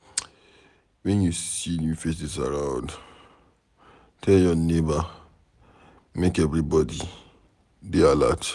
Wen you see new faces around, tell your neighbor make everybody dey alert.